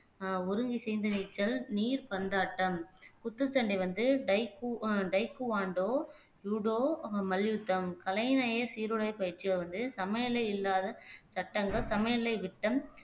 ஆஹ் ஒருங்கிசைந்து நீச்சல் நீர்பந்தாட்டம் குத்துச்சண்டை வந்து டைக்கு ஆஹ் டைக்குவான்டோ ஜூடோ அஹ் மல்யுத்தம் கலைநேய பயிற்சியை வந்து சமைநிலை இல்லாத சட்டங்கள் சமைநிலை விட்டம்